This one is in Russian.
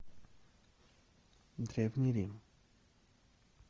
древний рим